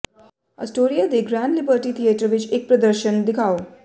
Astoria ਦੇ Grand Liberty Theatre ਵਿਚ ਇਕ ਪ੍ਰਦਰਸ਼ਨ ਦਿਖਾਓ